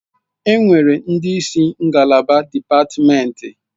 Enwere ndị isi ngalaba dipatimenti.